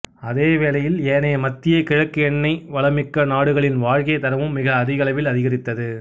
அதே வேளையில் ஏனைய மத்திய கிழக்கு எண்ணெய் வளம் மிக்க நாடுகளினதும் வாழ்க்கைத் தரமும் மிக அதிக அளவில் அதிகரித்தது